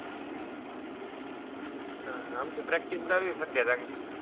आह आमची practice चालू आहे सध्या चांगली.